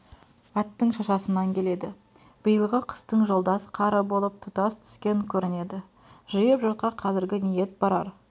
аттың шашасынан келеді биылғы қыстың жолдас қары болып тұтас түскен көрінеді жиып жұртқа қазіргі ниет барар